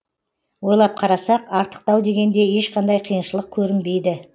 ойлап қарасақ артықтау дегенде ешқандай қиыншылық көрінбейді